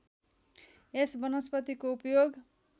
यस वनस्पतिको उपयोग